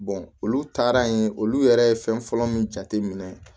olu taara yen olu yɛrɛ ye fɛn fɔlɔ min jateminɛ